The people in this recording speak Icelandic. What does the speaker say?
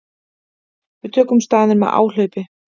Við tökum staðinn með áhlaupi.